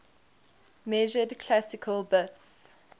measured classical bits